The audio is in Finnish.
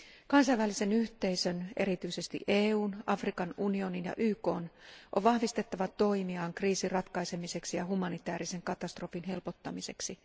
Kansainvälisen yhteisön, erityisesti EUn, Afrikan unionin ja YKn, on vahvistettava toimiaan kriisin ratkaisemiseksi ja humanitaarisen katastrofin helpottamiseksi.